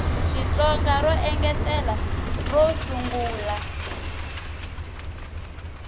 xitsonga ro engetela ro sungula